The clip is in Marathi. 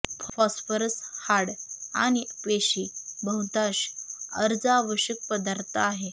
फॉस्फरस हाड आणि पेशी बहुतांश अर्ज आवश्यक पदार्थ आहे